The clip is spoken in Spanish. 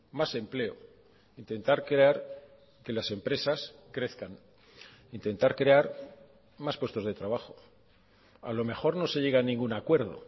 más empleo intentar crear que las empresas crezcan intentar crear más puestos de trabajo a lo mejor no se llega a ningún acuerdo